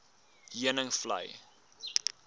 heuningvlei